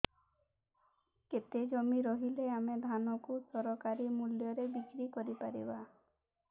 କେତେ ଜମି ରହିଲେ ଆମେ ଧାନ କୁ ସରକାରୀ ମୂଲ୍ଯରେ ବିକ୍ରି କରିପାରିବା